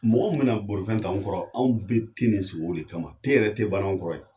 Mɔgɔ min bɛna bolifɛn ta anw kɔrɔ anw bɛ te de sigi olu de kama te yɛrɛ tɛ banna anw kɔrɔ yan